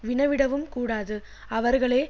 வினவிடவும் கூடாது அவர்களே